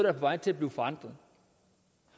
er på vej til at blive forandret